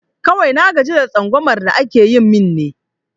Kawai na gaji da tsangumar da ake yi min ne